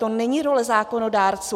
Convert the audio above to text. To není role zákonodárců.